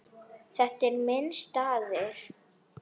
Þetta er minn staður.